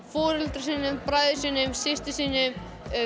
foreldrum sínum bræðrum sínum systrum sínum